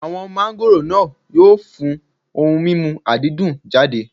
Àwọn máńgòrò náà yóò fún ohun mímu àdídùn jáde.